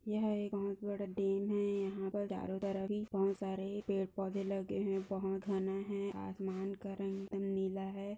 यह एक बहुत बड़ा डेम है यहा पर चारो तरफ ही बहुत सारे पेड़-पौधे लगे है बहुत घना है आसमान का रंग नीला है।